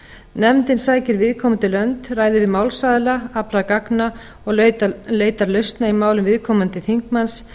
nefndin sækir viðkomandi lönd ræðir við málsaðila aflar gagna og leitar lausna í málum viðkomandi þingmanns